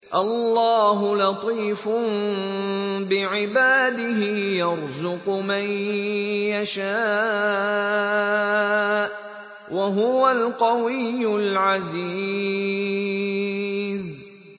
اللَّهُ لَطِيفٌ بِعِبَادِهِ يَرْزُقُ مَن يَشَاءُ ۖ وَهُوَ الْقَوِيُّ الْعَزِيزُ